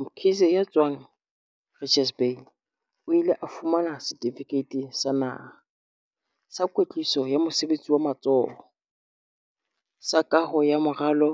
Mkhize, ya tswang Richards Bay, o ile a fumana Setifikeiti sa Naha, Sa Kwetliso ya Mosebetsi wa Matsoho, sa Kaho ya Moralo